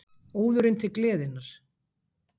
ÓÐURINN TIL GLEÐINNAR